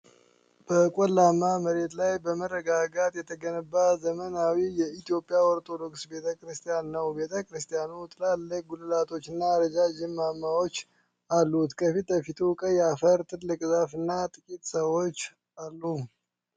በቆላማ መሬት ላይ በመረጋጋት የተገነባ ዘመናዊ የኢትዮጵያ ኦርቶዶክስ ቤተ ክርስቲያን ነው። ቤተ ክርስቲያኑ ትላልቅ ጉልላቶችና ረዣዥም ማማዎች አሉት። ከፊት ለፊቱ ቀይ አፈር፣ ትልቅ ዛፍ እና ጥቂት ሰዎች አሉ።